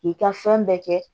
K'i ka fɛn bɛɛ kɛ